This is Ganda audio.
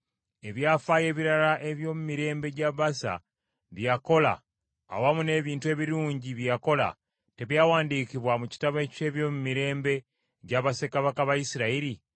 Ebyafaayo ebirala eby’omu mirembe gya Baasa, bye yakola, awamu n’ebintu ebirungi bye yakola, tebyawandiikibwa mu kitabo eky’ebyomumirembe gya bassekabaka ba Isirayiri?